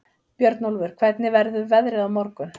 Björnólfur, hvernig verður veðrið á morgun?